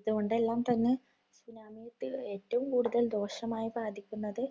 ഇത് കൊണ്ടെല്ലാം തന്നെ ഇതിനകത്ത് ഏറ്റവും ദോഷമായി ബാധിക്കുന്നത്